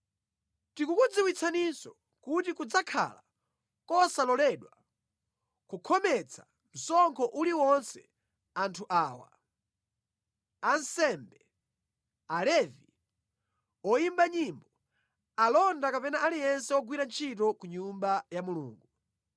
Tikukudziwitsaninso kuti kudzakhala kosaloledwa kukhometsa msonkho uliwonse anthu awa: ansembe, Alevi, oyimba nyimbo, alonda kapena aliyense wogwira ntchito ku Nyumba ya Mulungu.